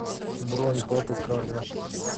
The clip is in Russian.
бронь папа карло